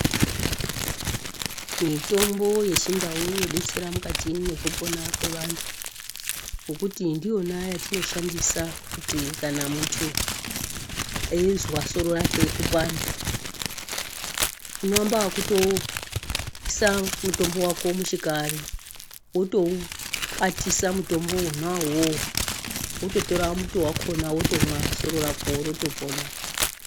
Mitombo yechindau inobetsera mukati mwekupona kwevantu. Ngekuti ndiyona yatinoshandisa kuti kana muntu eizwa soro rake kupanda. Unovamba vokutoisa mutombo vako muchikari votoukwatisa mutombo vona ivovo vototora muto vakona votomwa soro rako votopona.